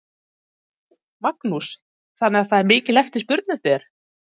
Magnús: Þannig að það er mikil eftirspurn eftir þér?